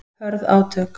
Hörð átök